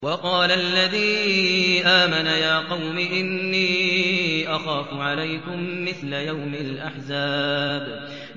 وَقَالَ الَّذِي آمَنَ يَا قَوْمِ إِنِّي أَخَافُ عَلَيْكُم مِّثْلَ يَوْمِ الْأَحْزَابِ